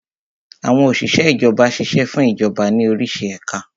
Àwọn Òsìsẹ́ Ìjọba ṣiṣẹ́ fún Ìjọba ní orísi ẹ̀ka